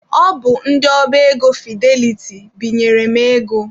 Ọ bụ ndị ọba ego Fideliti binyere m ego.